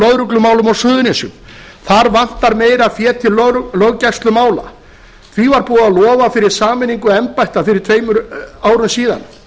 lögreglumálum á suðurnesjum þar vantar meira fé til löggæslumála því var búið að lofa fyrir sameiningu embætta fyrir tveimur árum síðan